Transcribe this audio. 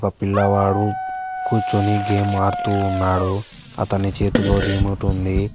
పిల్లవాడు కూర్చొని గేమ్ ఆడుతూ ఉన్నారు అతని చేతిలో రిమోట్ ఉంది.